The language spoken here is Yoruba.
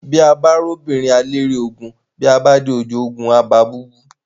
Bí a bá róbìnrin, à á lérí ogun, bí a dé ojú ogun, à á ba búbú.